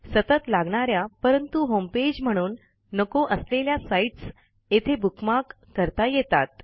सतत लागणा या परंतु होमपेज म्हणून नको असलेल्या साईटस् येथे बुकमार्क करता येतात